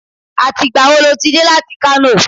Àti ìgbà wo lo ti dé láti Kano?